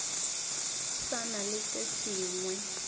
sa na le se sengwe